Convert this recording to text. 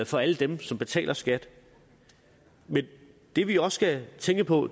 for alle dem som betaler skat men det vi også skal tænke på